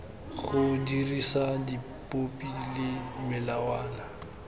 go dirisa dipopi le melawana